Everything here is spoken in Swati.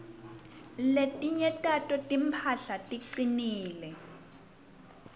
letinye tato timphahla ticinile